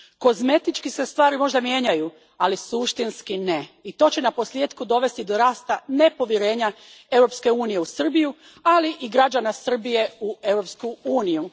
Kozmetički se stvari možda mijenjaju, ali suštinski ne. To će naposljetku dovesti do rasta nepovjerenja Europske unije u Srbiju, ali i građana Srbije u Europsku uniju.